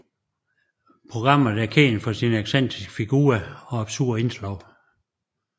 Programmet er kendt for sine excentriske figurer og absurde indslag